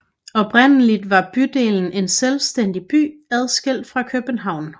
Oprindeligt var bydelen en selvstændig by adskilt fra København